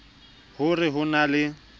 ho re ho na le